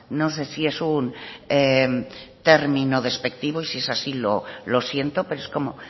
no sé si es un término despectivo y sí es así lo siento pero es como